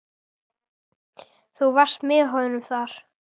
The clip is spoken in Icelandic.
Þú varst með honum þar?